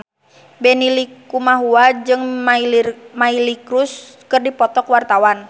Benny Likumahua jeung Miley Cyrus keur dipoto ku wartawan